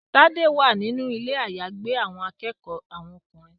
Tade wá nínú Ilé àyágbé àwọn akẹ́kọ̀ọ́ àwọn ọkùnrin.